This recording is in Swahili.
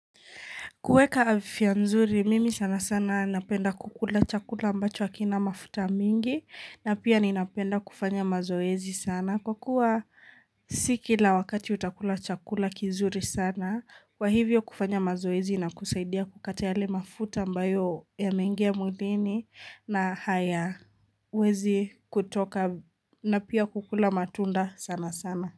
Kueka afya mzuri, mimi sana sana napenda kukula chakula ambacho hakina mafuta mingi na pia ninapenda kufanya mazoezi sana. Kwa kuwa sikila wakati utakula chakula kizuri sana, kwa hivyo kufanya mazoezi inakusaidia kukata yale mafuta ambayo yameingiya mwilini na haya huwezi kutoka na pia kukula matunda sana sana.